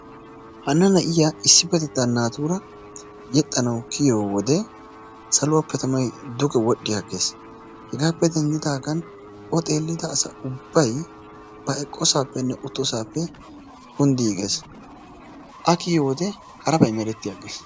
Hana na'iyaa issipettetaan naatura yeexxanawu kiyiyoo wode saluwaappe tamay duge wol"i aggees. Hegaappe denddiigan o xeellida asa ubbay ba eqqoosappenne uttosaappe kunddiigees. A kiyiyoo wode harabay meretti aggees.